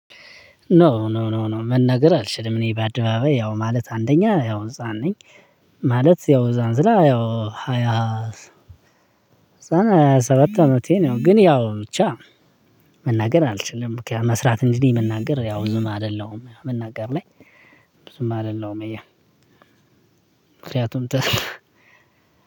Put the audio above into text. ኖ ኖ ኖ ኖ መናገር አልችልም እኔ በአድባባይ ያው ማለት አንደኛ ያው ህፃን ነኝ። ማለት ያው እዛን ስላ ያው ሃያ ሃያ ሰባት አመቴ ነው ግን ያው ብቻ። መናገር አልችልም ከመስራት እንግዲህ መናገር ያው ብዙም አይደለም መናገር ላይ። ብዙም አይደለም እያ እያልኩኝ ምክንያቱም ተሰለ